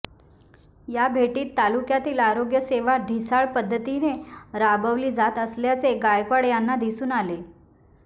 या भेटीत तालुक्यातील आरोग्य सेवा ढिसाळ पद्धतीने राबवली जात असल्याचे गायकवाड यांना दिसून आले